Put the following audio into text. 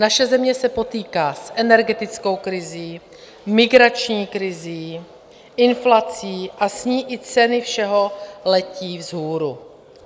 Naše země se potýká s energetickou krizí, migrační krizí, inflací a s ní i ceny všeho letí vzhůru.